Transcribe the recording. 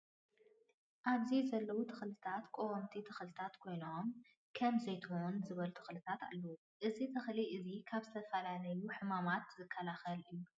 ኣብዚ ዘለው ተክሊታት ቀወምቲ ተክሊታት ኮይኖ ም ከም ዘይትሁን ዝበሉ ተክሊታት ኣለው። እዚ ተክሊ እዚ ካብ ዝተፈላለዩ ሕማማት ዝከላከል እዩ።